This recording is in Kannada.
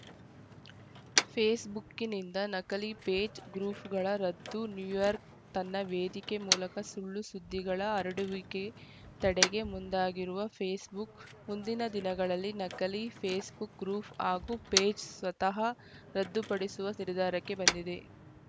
ಫೇಸ್‌ಬುಕ್‌ನಿಂದ ನಕಲಿ ಪೇಜ್‌ ಗ್ರೂಫ್ ಗಳ ರದ್ದು ನ್ಯೂಯಾರ್ಕ್ ತನ್ನ ವೇದಿಕೆ ಮೂಲಕ ಸುಳ್ಳು ಸುದ್ದಿಗಳ ಹರಡುವಿಕೆ ತಡೆಗೆ ಮುಂದಾಗಿರುವ ಫೇಸ್‌ಬುಕ್‌ ಮುಂದಿನ ದಿನಗಳಲ್ಲಿ ನಕಲಿ ಫೇಸ್‌ಬುಕ್‌ ಗ್ರೂಫ್ ಹಾಗೂ ಪೇಜ್‌ ಸ್ವತಃ ರದ್ದುಪಡಿಸುವ ನಿರ್ಧಾರಕ್ಕೆ ಬಂದಿದೆ